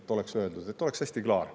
Et oleks öeldud, et oleks hästi klaar.